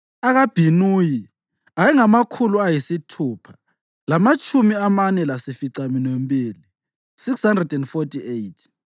akaBhinuyi ayengamakhulu ayisithupha lamatshumi amane lasificaminwembili (648),